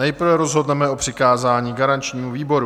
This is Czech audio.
Nejprve rozhodneme o přikázání garančnímu výboru.